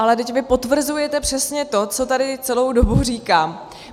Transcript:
Ale vždyť vy potvrzujete přesně to, co tady celou dobu říkám.